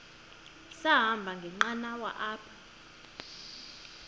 sahamba ngenqanawa apha